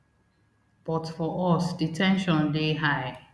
but for us di ten sion dey high